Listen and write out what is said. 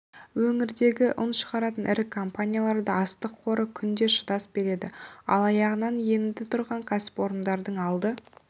өңірдегі ұн шығаратын ірі компанияларда астық қоры күнге шыдас береді ал аяғынан енді тұрған кәсіпорындардың алды